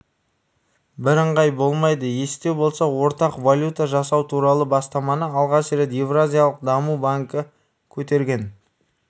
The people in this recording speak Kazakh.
біріңғай болмайды есте болса ортақ валюта жасау туралы бастаманы алғаш рет еуразиялық даму банкі көтерген